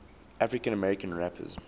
african american rappers